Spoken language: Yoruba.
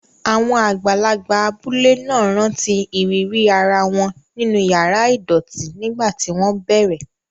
Àwọn àgbàlagbà abúlé náà rántí ìrírí ara wọn nínú yàrá ìdọ̀tí nígbà tí wọ́n bẹ̀rẹ̀.